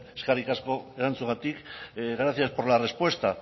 eskerrik asko erantzunagatik gracias por la respuesta